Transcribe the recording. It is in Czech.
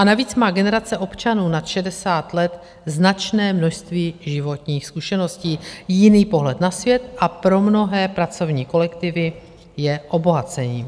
A navíc má generace občanů nad 60 let značné množství životních zkušeností, jiný pohled na svět a pro mnohé pracovní kolektivy je obohacením.